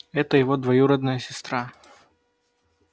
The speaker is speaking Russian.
это его двоюродная сестра